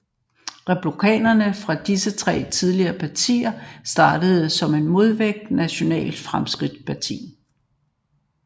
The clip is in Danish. Republikanere fra disse tre tidligere partier startede som en modvægt Nationalt Fremskridtsparti